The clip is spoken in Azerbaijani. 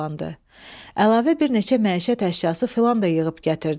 Əlavə bir neçə məişət əşyası filan da yığıb gətirdi.